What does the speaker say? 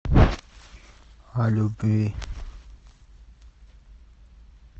о любви